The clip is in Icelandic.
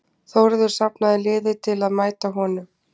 þórður safnaði liði til að mæta honum